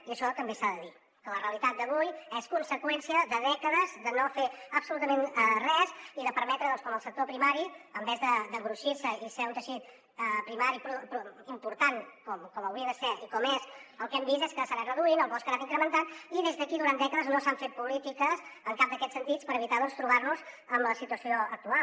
i això també s’ha de dir que la realitat d’avui és conseqüència de dècades de no fer absolutament res i de permetre que el sector primari en lloc d’engruixir se i ser un teixit primari important com hauria de ser i com és el que hem vist és que s’ha anat reduint el bosc ha anat incrementant i des d’aquí durant dècades no s’han fet polítiques en cap d’aquests sentits per evitar doncs trobar nos en la situació actual